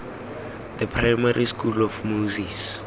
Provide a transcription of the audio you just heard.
the primary school of moses